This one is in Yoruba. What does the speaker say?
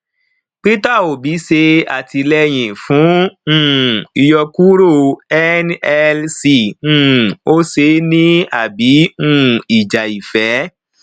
peter obi ṣe àtìlẹyìn fún um ìyọkuro nlc um ó ṣe é ní àbí um ìjà ìfẹ